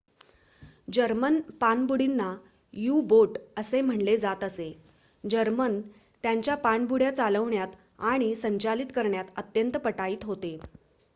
German पाणबुडींना U-boat असे म्हटले जात असे जर्मन त्यांच्या पाणबुड्या चालवण्यात आणि संचालित करण्यात अत्यंत पटाईत होते